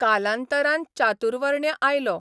कालांतरान चातुर्वर्ण्य आयलो.